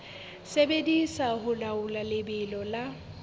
sebediswa ho laola lebelo la